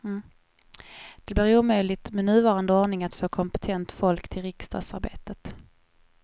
Det blir omöjligt med nuvarande ordning att få kompetent folk till riksdagsarbetet.